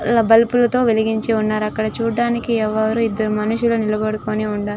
అలా బల్బులుతో వెలిగించి ఉన్నారు. చూడడానికి ఎవరూ ఇద్దరు మనుషులు నిలబడి ఉన్నారు --